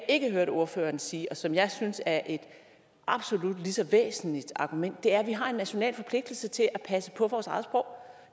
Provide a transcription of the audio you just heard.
ikke hørte ordføreren sige og som jeg synes er et absolut lige så væsentligt argument er at vi har en national forpligtelse til at passe på vores eget sprog